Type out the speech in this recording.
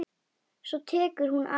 Svo tekur hún af skarið.